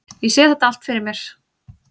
Ég sé þetta allt fyrir mér.